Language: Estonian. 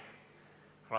Austatud istungi juhataja!